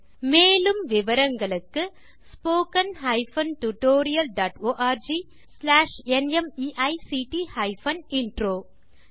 மேலும் விவரங்களுக்கு spoken hyphen tutorial dot org slash நிமைக்ட் ஹைபன் இன்ட்ரோ மூல பாடம் தேசி க்ரூ சொலூஷன்ஸ்